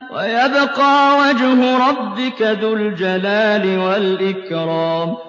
وَيَبْقَىٰ وَجْهُ رَبِّكَ ذُو الْجَلَالِ وَالْإِكْرَامِ